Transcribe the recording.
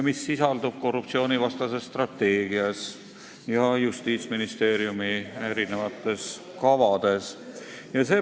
Lisaks sisaldub see korruptsioonivastases strateegias ja mitmetes Justiitsministeeriumi kavades.